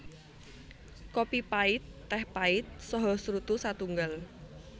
Kopi pait téh pait saha srutu satunggal